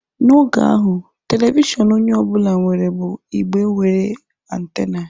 N'oge ahụ, telivishọn onye ọ bụla nwere bụ igbe nwere antena.